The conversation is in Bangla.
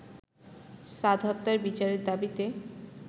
সাদ হত্যার বিচারের দাবিতে